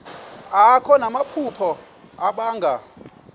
akho namaphupha abanga